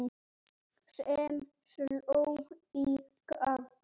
sem sló í gegn.